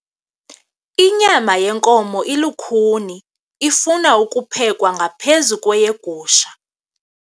Inyama yenkomo ilukhuni ifuna ukuphekwa ngaphezu kweyegusha.